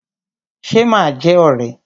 Ṣe ma jẹ́ ọ̀rẹ́?